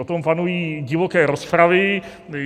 O tom panují divoké rozpravy.